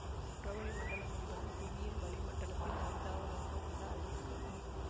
புறவளி மண்டலம் என்பது புவியின் வளிமண்டலத்தில் ஐந்தாவதாக உள்ள அடுக்கு ஆகும்